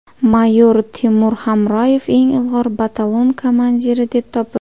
Mayor Temur Hamroyev eng ilg‘or batalon komandiri deb topildi.